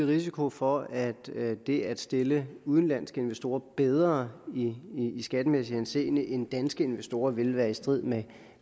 risiko for at det at stille udenlandske investorer bedre i skattemæssig henseende end danske investorer vil være i strid med